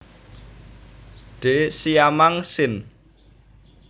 D siamang sin